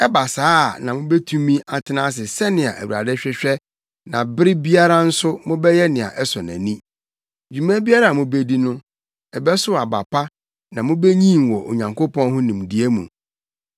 Ɛba saa a na mubetumi atena ase sɛnea Awurade hwehwɛ na bere biara nso, mobɛyɛ nea ɛsɔ nʼani. Dwuma biara a mubedi no, ɛbɛsow aba pa na mubenyin wɔ Onyankopɔn ho nimdeɛ mu.